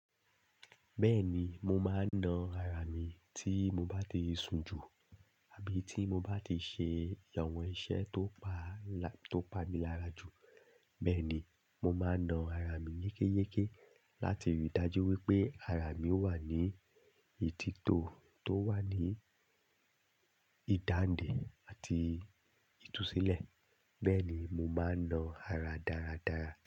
Bẹ́ẹ̀ni, mo máa ń na ara mi tí mo bá ti sun jù àbí tí mo bá ti ṣe àwọn iṣẹ́ tó pa, tó pa mi lára jù. Bẹ́ẹ̀ ni, mo máa na ara mi yékéyéké láti rí i dájú wípé ara mi ó wà ní ìtítò, tó wà ní ìdàǹdè àti ìtúsílẹ̀. Bẹ́ẹ̀ ni, mo máa ń na ara dáradára.